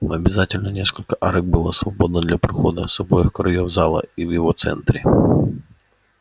но обязательно несколько арок было свободно для прохода с обоих краёв зала и в его центре